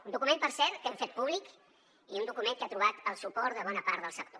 un document per cert que hem fet públic i un document que ha trobat el suport de bona part del sector